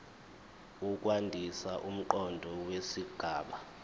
ukwandisa umqondo wesigaba